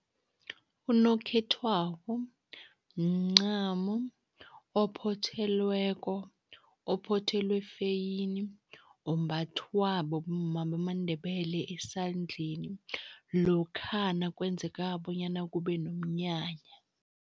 Unokhethwabo mncamo ophothelweko, ophothelwe feyini, ombathwa bomma bamaNdebele esandleni, lokha nakwenzeka bonyana kube nomnyanya.